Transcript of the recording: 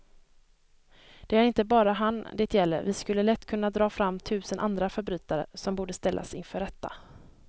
Det är inte bara han det gäller, vi skulle lätt kunna dra fram tusen andra förbrytare som borde ställas inför rätta.